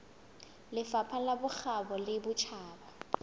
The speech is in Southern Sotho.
lefapha la bokgabo le botjhaba